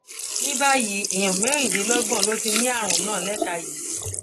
ní báyìí èèyàn mẹrìnlélọgbọn ló ti ní àrùn náà léka yìí